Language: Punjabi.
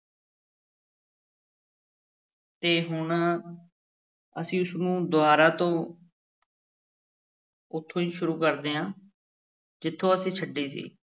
ਤੇ ਹੁਣ ਅਸੀਂ ਇਸਨੂੰ ਦੁਬਾਰਾ ਤੋਂ ਉੱਥੋਂ ਹੀ ਸ਼ੁਰੂ ਕਰਦੇ ਹਾਂ, ਜਿੱਥੋਂ ਅਸੀਂ ਛੱਡੀ ਸੀ।